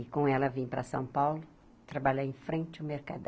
E com ela vim para São Paulo, trabalhar em frente ao Mercadão.